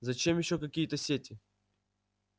зачем ещё какие-то сети